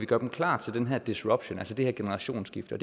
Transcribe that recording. gøre dem klar til den her disruption altså det her generationsskifte og